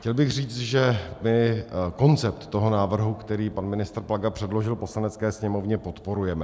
Chtěl bych říct, že my koncept toho návrhu, který pan ministr Plaga předložil Poslanecké sněmovně, podporujeme.